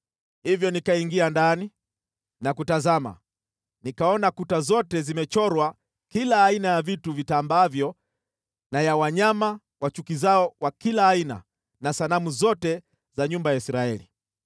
Hivyo nikaingia ndani na kutazama, nikaona kuta zote zimechorwa kila aina ya vitu vitambaavyo na ya wanyama wachukizao wa kila aina na sanamu zote za nyumba ya Israeli.